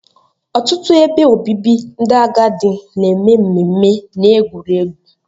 Ọtụtụ ebe obibi ndị agadi na-eme mmemme na egwuregwu